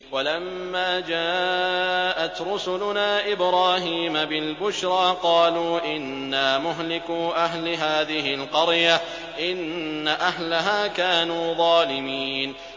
وَلَمَّا جَاءَتْ رُسُلُنَا إِبْرَاهِيمَ بِالْبُشْرَىٰ قَالُوا إِنَّا مُهْلِكُو أَهْلِ هَٰذِهِ الْقَرْيَةِ ۖ إِنَّ أَهْلَهَا كَانُوا ظَالِمِينَ